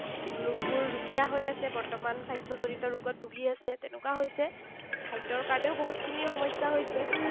লোকবোৰ ৰুগীয়া হৈ আছে বৰ্তমান, স্বাস্থ্যজনিত ৰোগত ভুগি আছে। তেনেকুৱা হৈছে। খাদ্যৰ কাৰণেও বহুতখিনি সমস্যা হৈছে।